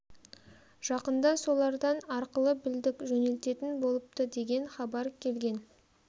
жақында солардан арқылы білдік жөнелтетін болыпты деген хабар келген